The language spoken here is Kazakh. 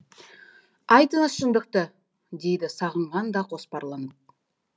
айтыңыз шындықты дейді сағынған да қоспарланып